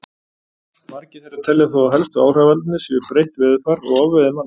Margir þeirra telja þó að helstu áhrifavaldarnir séu breytt veðurfar og ofveiði manna.